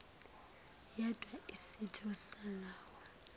yedwa isitho salowo